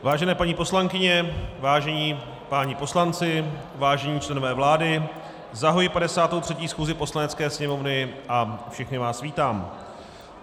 Vážené paní poslankyně, vážení páni poslanci, vážení členové vlády, zahajuji 53. schůzi Poslanecké sněmovny a všechny vás vítám.